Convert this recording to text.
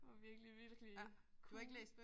Det var virkelig virkelig cool